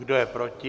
Kdo je proti?